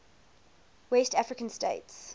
west african states